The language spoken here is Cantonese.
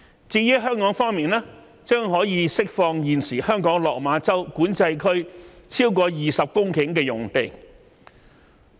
至於香港方面，將可以釋放現時香港落馬洲管制站超過20公頃的用地。